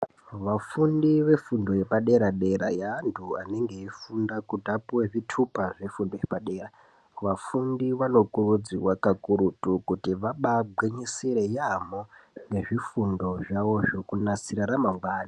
Vafundi vefundo yepadera dera yeantu anenge eifunda kuti apuwe zvitupa zvefundo yepadera, vafundi vanokurudzirwa kakurutu kuti vabaagwinyisire yaamho nezvifundo zvawozvo kuanasire ramangwani